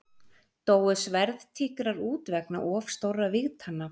Dóu sverðtígrar út vegna of stórra vígtanna?